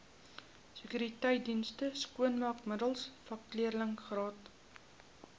sekuriteitsdienste skoonmaakmiddels vakleerlingraad